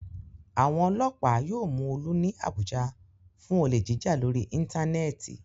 Àwọn ọlọ́pàá yóò mú Olú ní Àbújá fún olè jíjà lórí íńtánẹ́ẹ̀tì.